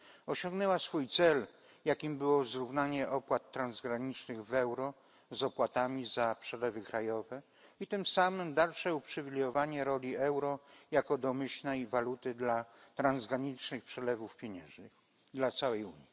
Osiągnęła swój cel, jakim było zrównanie opłat transgranicznych w euro z opłatami za przelewy krajowe, i tym samym dalsze uprzywilejowanie roli euro jako domyślnej waluty dla transgranicznych przelewów pieniężnych dla całej Unii.